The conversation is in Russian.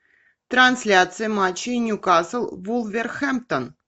трансляция матча ньюкасл вулверхэмптон